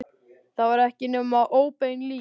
Það var ekki nema óbein lygi.